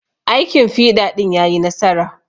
Aikin fiɗa ɗin yayi nasara.